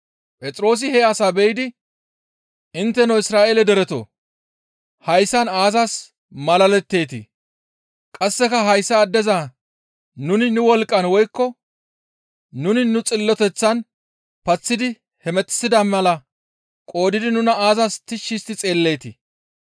Phexroosi he asaa be7idi, «Intteno Isra7eele deretoo! Hayssan aazas malaletteetii? Qasseka hayssa addeza nuni nu wolqqan woykko nuni nu xilloteththan paththidi hemettissida mala qoodidi nuna aazas tishshi histti xeelleetii?